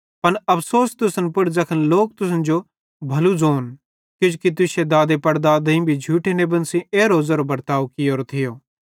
पन अफ़सोस तुसन पुड़ ज़ैखन लोक तुसन जो भलू ज़ोन किजोकि तुश्शे दादेपड़दादेईं भी झूठे नेबन सेइं एरो बर्ताव कियोरो थियो